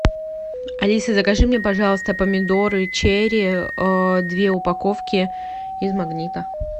алиса закажи мне пожалуйста помидоры черри две упаковки из магнита